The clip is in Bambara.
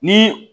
Ni